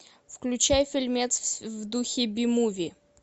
включай фильмец в духе би муви